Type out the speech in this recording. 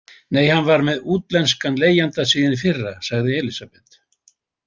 Nei, hann er með útlenskan leigjanda síðan í fyrra, sagði Elísabet.